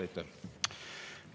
Aitäh!